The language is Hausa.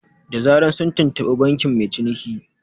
Da zaran sun tuntuɓi bankin mai cinikin